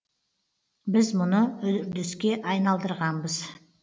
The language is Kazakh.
біз мұны үрдіске айналдырғанбыз